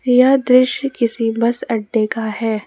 यह दृश्य किसी बस अड्डे का है।